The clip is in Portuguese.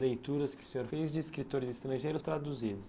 Leituras que o senhor fez de escritores estrangeiros traduzidos.